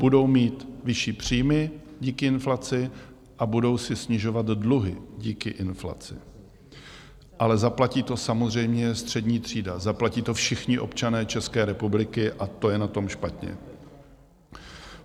Budou mít vyšší příjmy díky inflaci a budou si snižovat dluhy díky inflaci, ale zaplatí to samozřejmě střední třída, zaplatí to všichni občané České republiky, a to je na tom špatně.